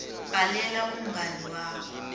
bhalela umngani wakho